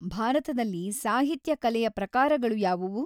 ಭಾರತದಲ್ಲಿ ಸಾಹಿತ್ಯ ಕಲೆಯ ಪ್ರಕಾರಗಳು ಯಾವುವು?